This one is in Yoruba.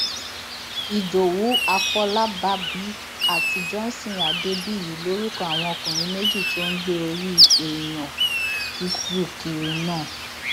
ìdòwú afọlábàbí àti johnson adébíyí lorúkọ àwọn ọkùnrin méjì tó ń gbé orí èèyàn tútù kiri náà